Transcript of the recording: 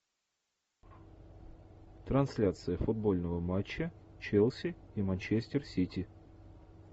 трансляция футбольного матча челси и манчестер сити